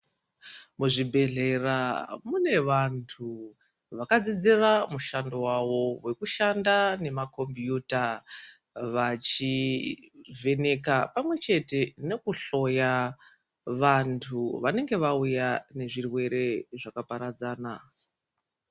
Ku zvibhedhlera mune vantu vakadzidzira mushando wawo weku shanda ne makombiyuta vachi vheneka pamwe chete neku hloya vantu vanenge vauya ne zvirwere zvaka paradzana.